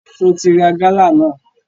Só o ti ra gálà náà?